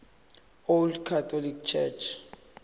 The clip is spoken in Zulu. old catholic church